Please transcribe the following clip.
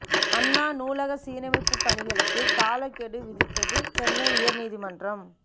அண்ணா நூலக சீரமைப்பு பணிகளுக்கு காலக்கெடு விதித்தது சென்னை உயர் நீதிமன்றம்